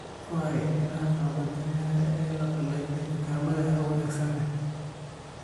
Ku hay iniinaha gabbaldayaha ee la qalajiyey dukaamada hawo wanaagsan leh.